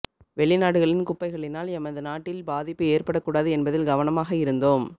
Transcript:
வௌிநாடுகளின் குப்பைகளினால் எமது நாட்டில் பாதிப்பு ஏற்படக் கூடாது என்பதில் கவனமாக இருந்தோம்